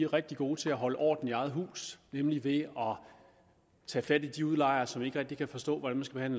rigtig gode til at holde orden i eget hus nemlig ved at tage fat i de udlejere som ikke rigtig kan forstå hvordan man